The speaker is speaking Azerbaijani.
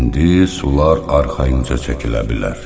İndi sular arxayınca çəkilə bilər.